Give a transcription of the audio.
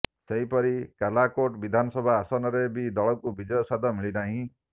ସେହିପରି କାଲାକୋଟ ବିଧାନସଭା ଆସନରେ ବି ଦଳକୁ ବିଜୟ ସ୍ବାଦ ମିଳିନାହିଁ